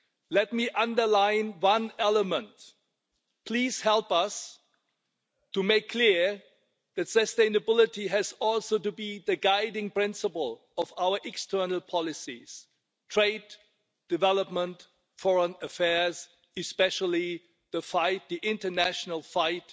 Let me underline one element. Please help us to make clear that sustainability also has to be the guiding principle of our external policies trade, development, foreign affairs and especially the international fight,